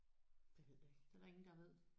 Det ved jeg ikke